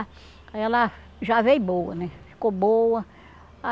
Aí ela já veio boa né, ficou boa. Ah